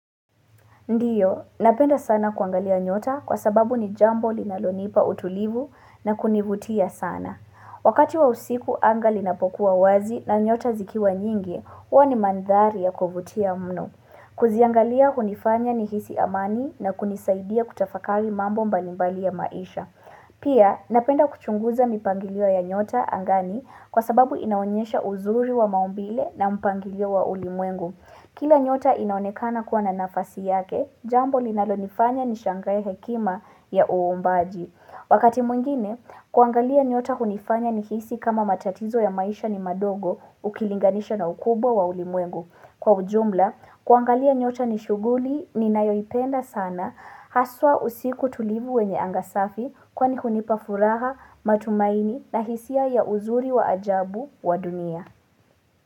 Ndiyo, napenda sana kuangalia nyota kwa sababu ni jambo linalonipa utulivu na kunivutia sana. Wakati wa usiku angali napokuwa wazi na nyota zikiwa nyingi, uwa ni mandhari ya kuvutia mnu. Kuziangalia hunifanya ni hisi amani na kunisaidia kutafakari mambo mbalimbali ya maisha. Pia, napenda kuchunguza mipangiliwa ya nyota angani kwa sababu inaonyesha uzuri wa maumbile na mpangiliwa wa ulimwengu. Kila nyota inaonekana kuwa na nafasi yake, jambo linalonifanya nishangaye hekima ya uombaji. Wakati mwingine, kuangalia nyota kunifanya nihisi kama matatizo ya maisha ni madogo ukilinganisha na ukubo wa ulimwengu. Kwa ujumla, kuangalia nyota nishuguli ni nayoipenda sana, haswa usiku tulivu wenye angasafi kwa ni kunipafuraha matumaini na hisia ya uzuri wa ajabu wa dunia.